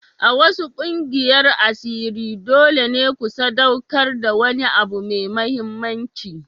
A wasu ƙungiyar asiri dole ne ku sadaukar da wani abu mai mahimmanci.